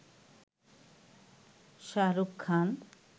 Shahrukh Khan